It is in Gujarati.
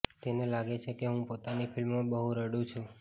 તેને લાગે છે કે હું પોતાની ફિલ્મોમાં બહુ રડુ છું